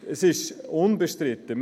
Es ist unbestritten: